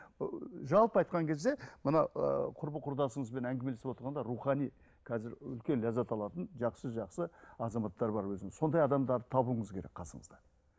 ыыы жалпы айтқан кезде мына ыыы құрбы құрдасыңызбен әңгімелесіп отырғанда рухани қазір үлкен ләззат алатын жақсы жақсы азаматтар бар өзінің сондай адамдарды табуыңыз керек қасыңызда